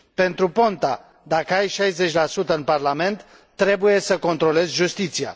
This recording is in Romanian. Pentru Ponta, dacă ai 60 în Parlament, trebuie să controlezi justiția.